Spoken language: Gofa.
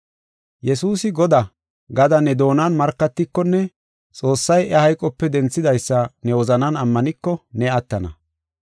“Yesuusi Godaa” gada ne doonan markatikonne Xoossay iya hayqope denthidaysa ne wozanan ammaniko, ne attana.